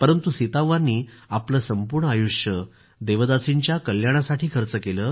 परंतु सीताव्वांनी आपलं संपूर्ण आयुष्य देवदासींच्या कल्याणासाठी खर्च केलं